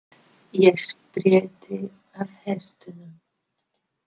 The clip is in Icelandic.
Ég held ég spretti af hestunum.